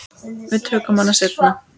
Við tökum hana seinna.